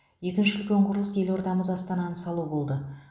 екінші үлкен құрылыс елордамыз астананы салу болды